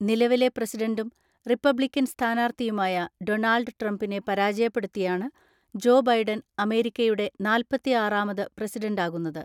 നിലവിലെ പ്രസിഡന്റും റിപ്പബ്ലിക്കൻ സ്ഥാനാർത്ഥിയുമായ ഡൊണാൾഡ് ട്രംപിനെ പരാജയപ്പെടുത്തിയാണ് ജോ ബൈഡൻ അമേരിക്കയുടെ നാല്‍പത്തിആറാമത് പ്രസിഡന്റാകുന്നത്.